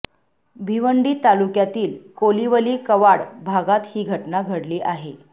भिवंडी तालुक्यातील कोलिवली कवाड भागात ही घटना घडली आहे